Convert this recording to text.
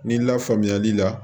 Ni lafaamuyali la